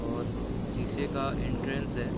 और सीसे का एन्ट्रन्स है।